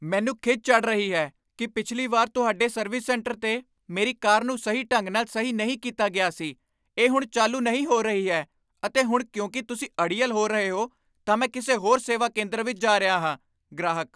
ਮੈਨੂੰ ਖਿਝ ਚੜ੍ਹ ਰਹੀ ਹੈ ਕੀ ਪਿਛਲੀ ਵਾਰ ਤੁਹਾਡੇ ਸਰਵਿਸ ਸੈਂਟਰ 'ਤੇ ਮੇਰੀ ਕਾਰ ਨੂੰ ਸਹੀ ਢੰਗ ਨਾਲ ਸਹੀ ਨਹੀਂ ਕੀਤਾ ਗਿਆ ਸੀ ਇਹ ਹੁਣ ਚਾਲੂ ਨਹੀਂ ਹੋ ਰਹੀ ਹੈ ਅਤੇ ਹੁਣ ਕਿਉਂਕਿ ਤੁਸੀਂ ਅੜੀਅਲ ਹੋ ਰਹੇ ਹੋ, ਤਾਂ ਮੈਂ ਕਿਸੇ ਹੋਰ ਸੇਵਾ ਕੇਂਦਰ ਵਿੱਚ ਜਾ ਰਿਹਾ ਹਾਂ ਗ੍ਰਾਹਕ